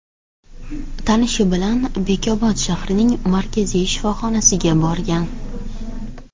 tanishi bilan Bekobod shahrining markaziy shifoxonasiga borgan.